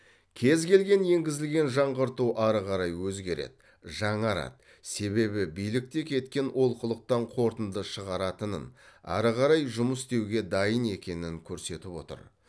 кез келген енгізілген жаңғырту ары қарай өзгереді жаңарады себебі билік те кеткен олқылықтан қорытынды шығаратынын ары қарай жұмыс істеуге дайын екенін көрсетіп отыр